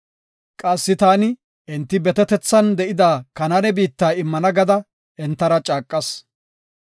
Qassi taani enti betetethan de7ida Kanaane biitta immana gada entara caaqas.